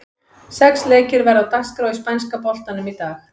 Sex leikir verða á dagskrá í spænska boltanum í dag.